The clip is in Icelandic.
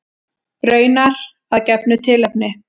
Raunar að gefnu tilefni.